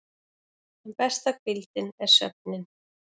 En besta hvíldin er svefninn.